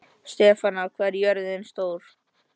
Stefana, hvað er jörðin stór?